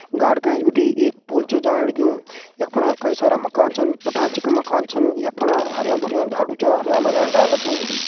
गाड का एंच बिटि एक पुल छ जाण लग्युं यख फणा कई सारा मकान छन पठाल छी का मकान छन यख फणा हरयां भरयां धाडु छा हरयां भरयां डाला छन |